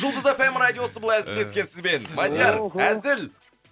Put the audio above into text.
жұлдыз эф эм радиосы былай тілдескен сізбен мадияр әзіл